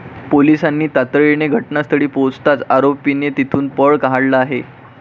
पोलिसांनी तातडीने घटनास्थळी पोहचताच आरोपीने तेथून पळ काढला आहे.